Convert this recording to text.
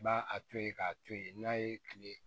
Ba a to ye k'a to ye n'a ye kile